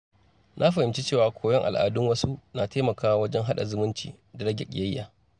Na fahimci cewa koyon al’adun wasu na taimakawa wajen haɗa zumunci da rage ƙiyayya.